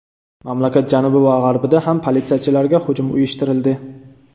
Mamlakat janubi va g‘arbida ham politsiyachilarga hujum uyushtirildi.